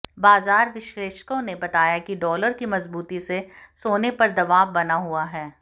बाजार विश्लेषकों ने बताया कि डॉलर की मजबूती से सोने पर दबाव बना हुआ है